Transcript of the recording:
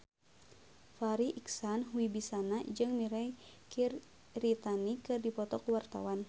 Farri Icksan Wibisana jeung Mirei Kiritani keur dipoto ku wartawan